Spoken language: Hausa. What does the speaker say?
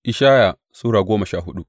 Ishaya Sura goma sha hudu